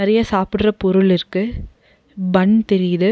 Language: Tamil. நறைய சாப்பிட்ற பொருள் இருக்கு பன் தெரியுது.